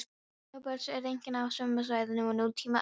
Móbergsfjöll eru einkum á sömu svæðum og nútíma eldstöðvar.